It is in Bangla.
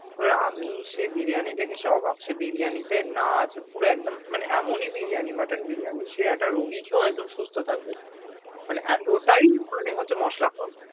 এবার আমি সে বিরিয়ানি দেখে সে অবাক। সে বিরিয়ানি তে না আছে পুরো একদম মানে এমনি বিরিয়ানি mutton বিরিয়ানি সে একটা রুগী খেয়েও সুস্থ থাকবে। মানে এতোটাই মানে হচ্ছে মসলা কম।